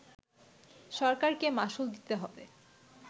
সরকারকে মাশুল দিতে হবে